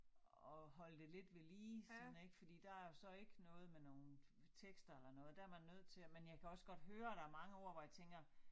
At holde det lidt ved lige sådan ik fordi der jo så ikke noget med nogen tekster eller noget der man nødt til at men jeg kan også godt høre der mange ord hvor jeg tænker